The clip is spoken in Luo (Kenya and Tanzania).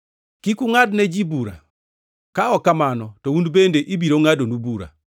“Kik ungʼad ne ji bura, ka ok kamano to un bende ibiro ngʼadnu bura.